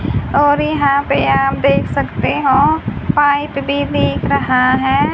और यहां पे आप देख सकते हों पाईंट भी दिख रहा है।